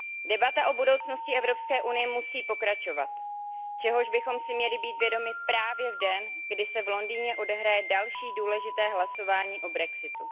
Debata o budoucnosti Evropské unie musí pokračovat, čehož bychom si měli být vědomi právě v den, kdy se v Londýně odehraje další důležité hlasování o brexitu.